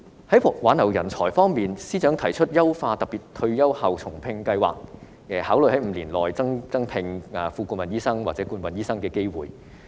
在挽留人才方面，司長提出優化特別退休後重聘計劃，考慮在5年內增加副顧問醫生晉升至顧問醫生的機會。